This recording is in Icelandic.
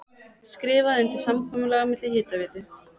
Skrifað undir samkomulag milli Hitaveitu